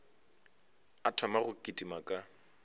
a thoma go kitima ka